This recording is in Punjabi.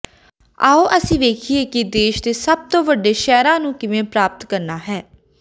ਆਉ ਅਸੀਂ ਵੇਖੀਏ ਕਿ ਦੇਸ਼ ਦੇ ਸਭ ਤੋਂ ਵੱਡੇ ਸ਼ਹਿਰਾਂ ਨੂੰ ਕਿਵੇਂ ਪ੍ਰਾਪਤ ਕਰਨਾ ਹੈ